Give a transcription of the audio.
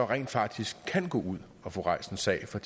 rent faktisk kan gå ud at få rejst en sag for